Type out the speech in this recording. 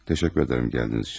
Təşəkkür edirəm gəldiyiniz üçün.